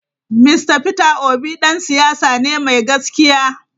Mr Peter obi dan siyasa ne mai gaskiya.